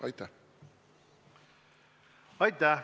Aitäh!